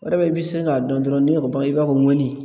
O de bɛ sin k'a dɔn dɔrɔn ni o i b'a fɔ ŋɔni.